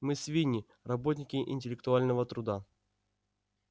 мы свиньи работники интеллектуального труда